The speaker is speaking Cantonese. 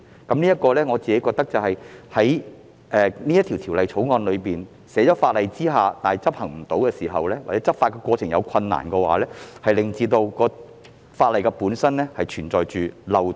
就此，我認為如《條例草案》只是將規定納入法例卻無法執行，或在執法過程存在困難時，則法例本身存在漏洞。